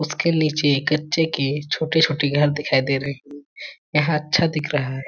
उसके नीचे गत्ते के छोटे -छोटे घर दिखाई दे रहे है यहाँ अच्छा दिख रहा हैं ।